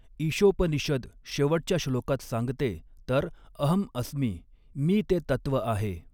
ईषोपनिषद शेवटच्या श्लोकात सांगते तर अहं अस्मि मी ते तत्व आहे.